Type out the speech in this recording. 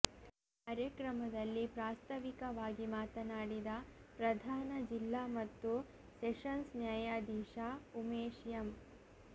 ಕಾರ್ಯಕ್ರಮದಲ್ಲಿ ಪ್ರಾಸ್ತಾವಿಕವಾಗಿ ಮಾತನಾಡಿದ ಪ್ರಧಾನ ಜಿಲ್ಲಾ ಮತ್ತು ಸೆಷನ್ಸ್ ನ್ಯಾಯಾಧೀಶ ಉಮೇಶ್ ಎಂ